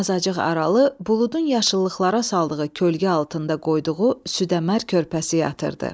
Azacıq aralı buludun yaşıllıqlara saldığı kölgə altında qoyduğu südəmər körpəsi yatırdı.